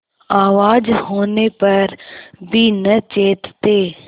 आवाज होने पर भी न चेतते